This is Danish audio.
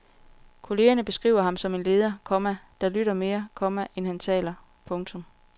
Kollegerne beskriver ham som en leder, komma der lytter mere, komma end han taler. punktum